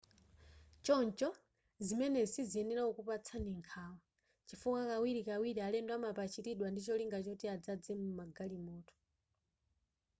choncho zimenezi siziyenera kukupatsani nkhawa chifukwa kawirikawiri alendo amapachiridwa ndicholinga choti adzaze m'magalimoto